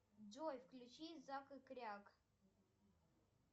джой включи зак и кряк